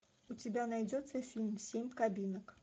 у тебя найдется фильм семь кабинок